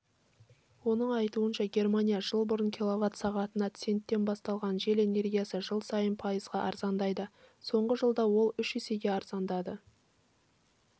оның айтуынша германия жыл бұрын килловат-сағатына центтен бастаған жел энергиясы жыл сайын пайызға арзандайды соңғы жылда ол үш есеге арзандады